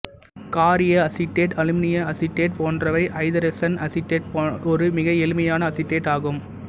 காரிய அசிட்டேட்டு அலுமினிய அசிட்டேட்டு போன்றவை ஐதரசன் அசிட்டேட்டு ஒரு மிக எளிமையான அசிட்டேட்டு ஆகும்